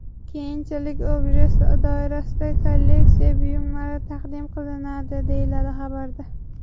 Keyinchalik Objects doirasida kolleksiya buyumlari taqdim qilinadi, deyiladi xabarda.